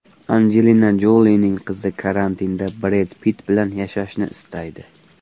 Anjelina Jolining qizi karantinda Bred Pitt bilan yashashni istaydi.